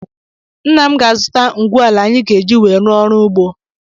Nna m ga-azụta ngwu ala anyị ga-eji wee rụọ ọrụ ugbo.